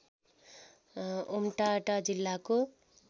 Umtata जिल्लाको